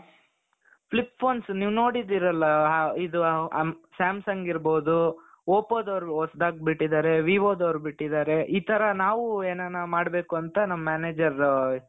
flip phones ನೀವ್ ನೋಡಿದ್ದೀರಲ್ಲ ಇದು ಅo samsung ಇರ್ಬಹುದು oppoದವರು ಹೊಸದಾಗಿ ಬಿಟ್ಟಿದ್ದಾರೆ vivoದವರು ಬಿಟ್ಟಿದ್ದಾರೆ ಈ ತರ ನಾವು ಎನಾನ ಮಾಡ್ಬೇಕು ಅಂತ ನಮ್ manager .